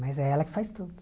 Mas é ela que faz tudo.